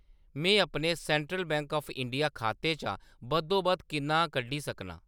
मैं अपने central bank of India खाते चा बद्धोबद्ध किन्ना कड्ढी सकनां ?